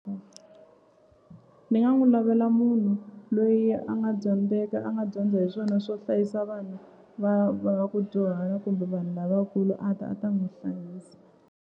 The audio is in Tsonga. Ni nga n'wi lavela munhu loyi a nga dyondzeka a nga dyondza hi swona swo hlayisa vanhu va va ku dyuhara kumbe vanhu lavakulu a ta a ta n'wi hlayisa.